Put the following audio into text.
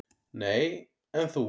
"""Nei, en þú?"""